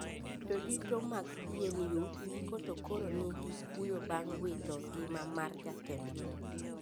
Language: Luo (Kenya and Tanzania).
Jodito mag PNU giko to koro ni gi kuyo bang` wito ngima mar jatendgi